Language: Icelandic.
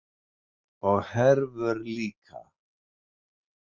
Og Hervör líka.